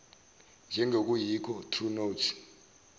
njengokuyikho true notes